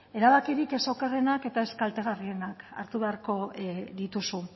erabakirik ez okerrenak eta ez kaltegarrienak hartu beharko dituzu